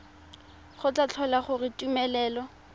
go tla tlhola gore tumelelo